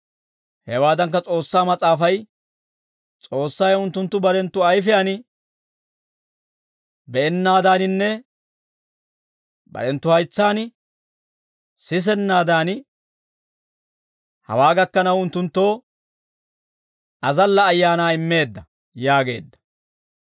Hawaadankka, S'oossaa Mas'aafay, «S'oossay unttunttu barenttu ayfiyaan be'ennaadaaninne barenttu haytsaan sisennaadan, hawaa gakkanaw unttunttoo, azalla ayaanaa immeedda» yaageedda.